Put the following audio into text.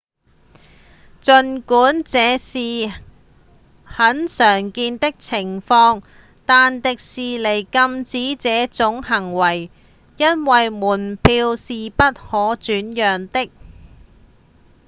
儘管這是很常見的情況但迪士尼禁止這種行為因為門票是不可轉讓的